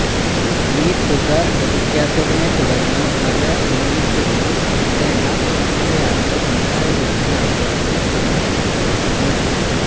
ഈ തുക ലഭിക്കാത്തതിനെത്തുടര്ന്ന് പല യൂണിറ്റുകളും പൂട്ടേണ്ട അവസ്ഥയാണ് ഉണ്ടായതെന്നാണ് ലഭിക്കുന്ന റിപ്പോര്ട്ടുകള്